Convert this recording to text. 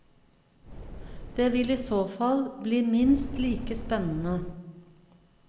Det vil i så fall bli minst like spennende.